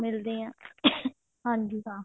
ਮਿਲਦੇ ਹਾਂ ਹਾਂਜੀ ਹਾਂ